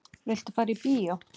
Viltu fara í bíó?